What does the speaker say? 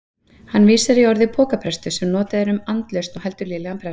Hann vísar í orðið pokaprestur sem notað er um andlausan og heldur lélegan prest.